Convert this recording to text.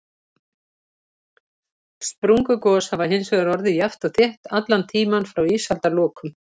Sprungugos hafa hins vegar orðið jafnt og þétt allan tímann frá ísaldarlokum.